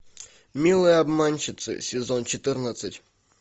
милые обманщицы сезон четырнадцать